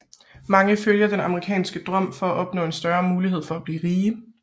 Mange følger den amerikanske drøm for at opnå en større mulighed for at blive rige